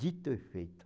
Dito e feito.